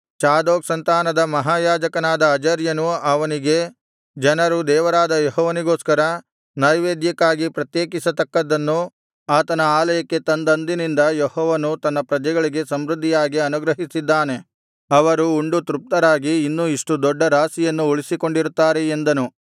Zadok ಸಂತಾನದ ಮಹಾಯಾಜಕನಾದ ಅಜರ್ಯನು ಅವನಿಗೆ ಜನರು ದೇವರಾದ ಯೆಹೋವನಿಗೋಸ್ಕರ ನೈವೇದ್ಯಕ್ಕಾಗಿ ಪ್ರತ್ಯೇಕಿಸತಕ್ಕದ್ದನ್ನು ಆತನ ಆಲಯಕ್ಕೆ ತಂದಂದಿನಿಂದ ಯೆಹೋವನು ತನ್ನ ಪ್ರಜೆಗಳಿಗೆ ಸಮೃದ್ಧಿಯಾಗಿ ಅನುಗ್ರಹಿಸಿದ್ದಾನೆ ನಾವು ಉಂಡು ತೃಪ್ತರಾಗಿ ಇನ್ನೂ ಇಷ್ಟು ದೊಡ್ಡ ರಾಶಿಯನ್ನು ಉಳಿಸಿಕೊಂಡಿರುತ್ತಾರೆ ಎಂದನು